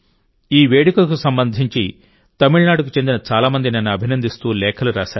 ఈ వేడుకకు సంబంధించి తమిళనాడుకు చెందిన చాలామంది నన్ను అభినందిస్తూ లేఖలు రాశారు